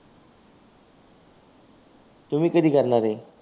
तुम्ही कधी करणार आहे?